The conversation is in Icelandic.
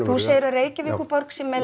þú segir að Reykjavíkurborg sé með